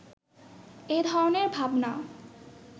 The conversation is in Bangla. এ ধরনের ভাবনা